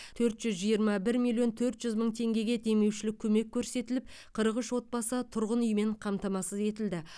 төрт жүз жиырма бір миллион төрт жүз мың теңгеге демеушілік көмек көрсетіліп қырық үш отбасы тұрғын үймен қамтамасыз етілді